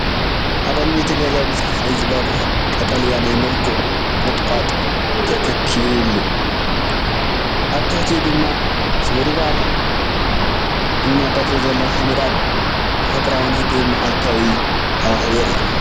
ኣብ ቅድሚ እቲ ገዛ ብጸሓይ ዝበርህ ቀጠልያ ናይ መልክዕ ቁጥቋጥ ተተኺሉ። ኣብ ትሕቲኡ ድማ ስብርባር እምንን ቅርጺ ዘለዎ ሓመድን ኣሎ። ተፈጥሮኣውን ህዱእን፡ መዓልታዊ ሃዋህው የርኢ።